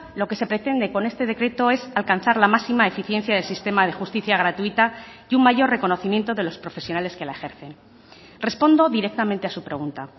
lo que se pretende con este decreto es alcanzar la máxima eficiencia del sistema de justicia gratuita y un mayor reconocimiento de los profesionales que la ejercen respondo directamente a su pregunta